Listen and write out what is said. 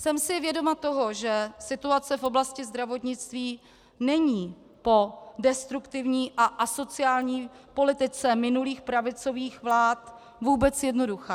Jsem si vědoma toho, že situace v oblasti zdravotnictví není po destruktivní a asociální politice minulých pravicových vlád vůbec jednoduchá.